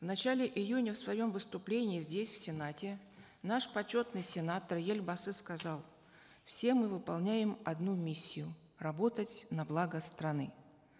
в начале июня в своем выступлении здесь в сенате наш почетный сенатор елбасы сказал все мы выполняем одну миссию работать на благо страны